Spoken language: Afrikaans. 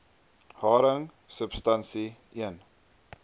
haring substansie l